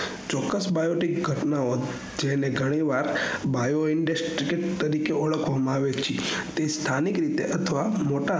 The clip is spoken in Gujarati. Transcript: ચોકકસ biopic ઘટનાઓ જેમને ઘણી વાર biopic industy તરીકે ઓળખવામાં આવે છે તે સ્થાનિક રીતે અથવા મોટા